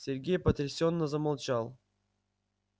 сергей потрясённо замолчал